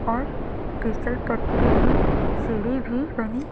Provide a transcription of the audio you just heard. और फिसल पट्टी में सीढ़ी भी बनी--